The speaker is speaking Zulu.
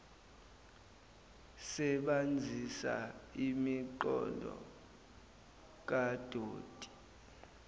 sebanzisa imigqomo kadoti